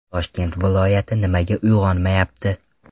Toshkent viloyati nimaga uyg‘onmayapti?